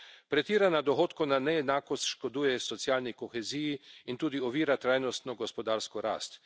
Pretirana dohodkovna neenakost škoduje socialni koheziji in tudi ovira trajnostno gospodarsko rast.